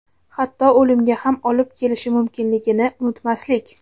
hatto o‘limga ham olib kelishi mumkinligini unutmaslik;.